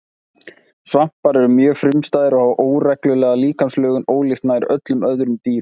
Svampar eru mjög frumstæðir og hafa óreglulega líkamslögun ólíkt nær öllum öðrum dýrum.